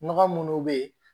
Nɔgɔ munnu be yen